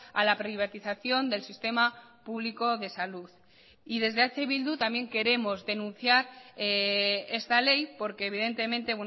a la privatización del sistema público de salud y desde eh bildu también queremos denunciar esta ley porque evidentemente